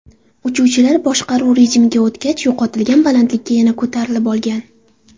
Uchuvchilar boshqaruv rejimiga o‘tgach, yo‘qotilgan balandlikka yana ko‘tarilib olgan.